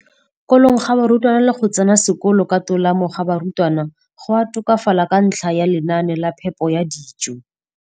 kolong ga barutwana le go tsena sekolo ka tolamo ga barutwana go a tokafala ka ntlha ya lenaane la phepo ya dijo.